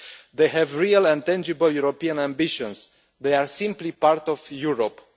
They have real and tangible European ambitions they are simply part of Europe.